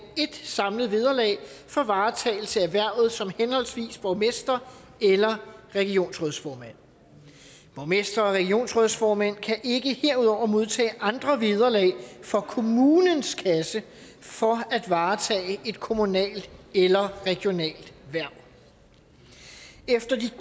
ét samlet vederlag for varetagelse af hvervet som henholdsvis borgmester eller regionsrådsformand borgmestre og regionsrådsformænd kan ikke herudover modtage andre vederlag fra kommunens kasse for at varetage et kommunalt eller regionalt hverv efter de